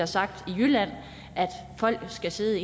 sagt i jylland at folk skal sidde